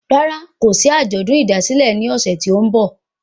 Rárá, kòsí àjọ̀dún ìdásílẹ̀ ní ọ̀sẹ̀ tí o n bọ̀